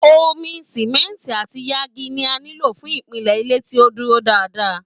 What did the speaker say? Omi, Simẹnti àti yangi ni a nilo fún ìpìlẹ̀ ilé tí ó dúró dáadáa.